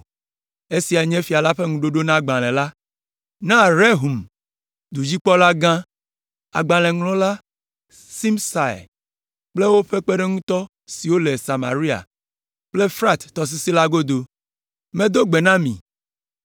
Esiae nye fia la ƒe ŋuɖoɖo na agbalẽ la: Na: Rehum dudzikpɔlagã, agbalẽŋlɔla, Simsai kple woƒe kpeɖeŋutɔ siwo le Samaria kple Frat tɔsisi la godo; Medo gbe na mi,